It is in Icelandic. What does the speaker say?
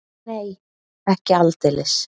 Nei, ekki aldeilis.